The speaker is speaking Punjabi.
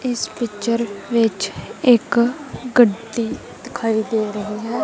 ਇਸ ਪਿੱਚਰ ਵਿੱਚ ਇੱਕ ਗੱਡੀ ਦਿਖਾਈ ਦੇ ਰਹੀ ਹੈ।